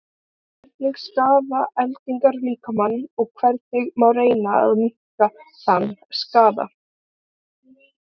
hvernig skaða eldingar líkamann og hvernig má reyna að minnka þann skaða